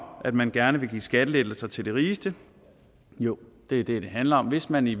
at man gerne vil give skattelettelser til de rigeste jo det er det det handler om hvis man i